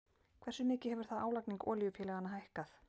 Hversu mikið hefur þá álagning olíufélaganna hækkað?